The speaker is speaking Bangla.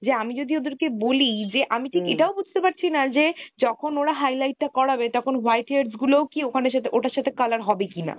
যে আমি যদি ওদের কে বলি যে আমি ঠিক এটাও বুঝতে পারছি না যে যখন ওরা highlight টা করাবে তখন white hairs গুলো ও কি ওখানে সেটা ওটার সাথে color হবে কিনা